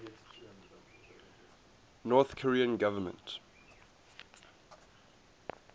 north korean government